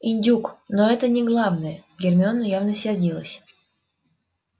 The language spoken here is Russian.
индюк но это не главное гермиона явно сердилась